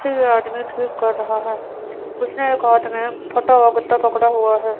ये आदमी ठीक कर रहा है उसने एक हाथ मे फटा हुआ गत्ता पकड़ा हुआ है।